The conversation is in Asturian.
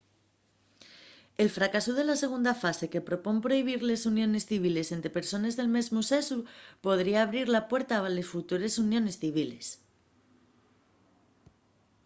el fracasu de la segunda frase que propón prohibir les uniones civiles ente persones del mesmu sexu podría abrir la puerta a les futures uniones civiles